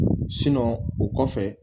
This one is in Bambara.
o kɔfɛ